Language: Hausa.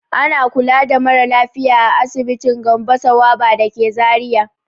Ana kula da mara lafiya a asibitin Gambo Sawaba da ke Zariya.